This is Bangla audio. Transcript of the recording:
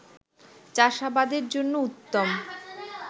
চাষাবাদের জন্য উত্তম